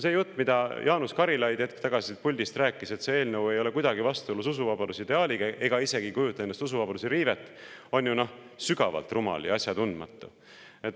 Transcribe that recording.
See jutt, mida Jaanus Karilaid hetk tagasi siit puldist rääkis, et see eelnõu ei ole kuidagi vastuolus usuvabaduse ideaaliga ega kujuta endast isegi usuvabaduse riivet, on sügavalt rumal ja asjatundmatu.